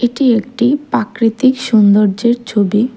এটি একটি পাকৃতিক সৌন্দর্যের ছবি।